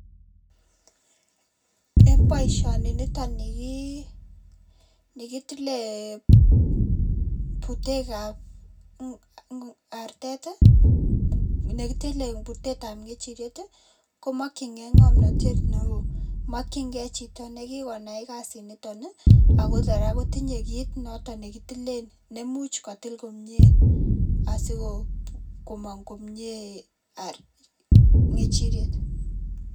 Eng boisioniton kitile butekab artet, nekitile butetab kechirek komakchinkei ngomnatet neo, makchinkei chito ne kikonai kasinito ako kora kotinye kiit noto ne kitilen nemuch kotil komnye asikomang komnyee kechiriet.